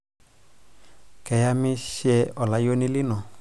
keyamishe olayuni lino